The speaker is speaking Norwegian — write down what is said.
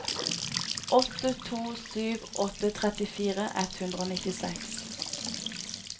åtte to sju åtte trettifire ett hundre og nittiseks